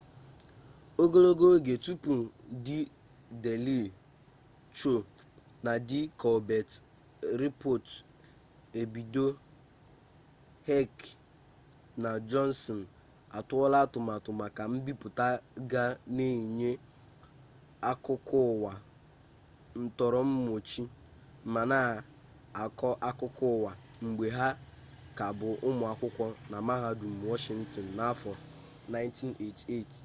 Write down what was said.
ogologo oge tupu di deeli sho na di kolbet rịpọt ebido heck na johnson atụọla atụmatụ maka mbipụta ga na-enye akụkọụwa ntọrọmọchị ma na-akọ akụkọụwa mgbe ha ka bụ ụmụ akwụkwọ na mahadum washịntịn n'afọ 1988